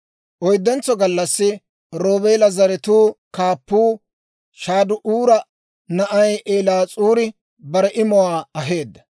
Oyddentso gallassi Roobeela zaratuu kaappuu Shade'uura na'ay Eliis'uuri bare imuwaa aheedda.